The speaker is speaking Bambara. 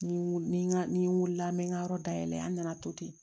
Ni w ni n ka ni n wulila n bɛ n ka yɔrɔ dayɛlɛ an nana to ten